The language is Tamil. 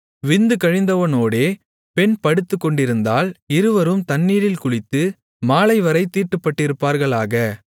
விந்து கழிந்தவனோடே பெண் படுத்துக்கொண்டிருந்தால் இருவரும் தண்ணீரில் குளித்து மாலைவரைத் தீட்டுப்பட்டிருப்பார்களாக